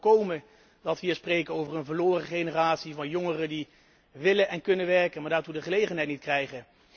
Laten wij voorkomen dat wij hier spreken over een verloren generatie van jongeren die willen en kunnen werken, maar daartoe de gelegenheid niet krijgen.